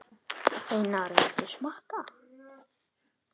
Einar, viltu smakka?